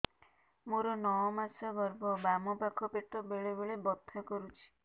ମୋର ନଅ ମାସ ଗର୍ଭ ବାମ ପାଖ ପେଟ ବେଳେ ବେଳେ ବଥା କରୁଛି